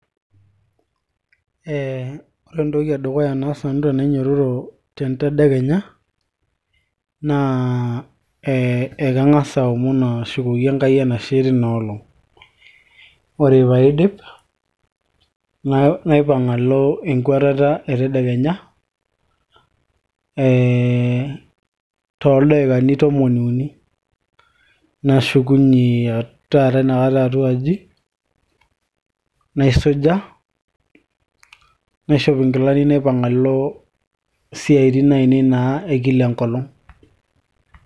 eh, ore entoki edukuya naas nanu tenainyiototo tentedekenya naa eh, kanga'as aomon ashukoki Enkai enashe tina olong ore paidip naipang alo enkuatata e tedekenya eh, toldaikani tomon uni nashukunye taata inakata atuaji naisuja naishop inkilani naipang alo isiaitin ainei naa ekila enkolong.